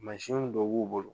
Mansinw dɔ b'u bolo